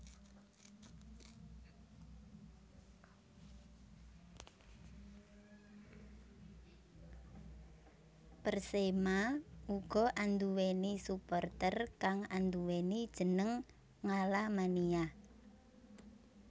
Persema uga anduwèni supporter kang anduwèni jeneng Ngalamania